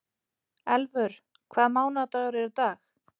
Elfur, hvaða mánaðardagur er í dag?